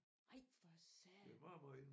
Ej for satan